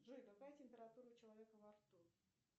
джой какая температура у человека во рту